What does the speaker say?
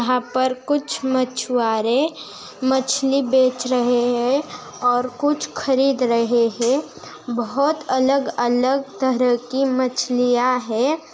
पर कुछ मछुआरे मछली बेच रहे हे और कुछ खरीद रहे हे बहत अलग-अलग तहरह की मछलियाँ हैं।